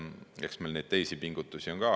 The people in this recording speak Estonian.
Ja eks meil neid teisi pingutusi on ka.